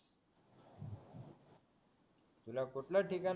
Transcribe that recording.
तुला कुठलं ठिकाण